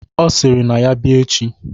Ọ sịrị na ya bịa echi